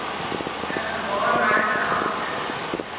n gewaarmerkte afskrif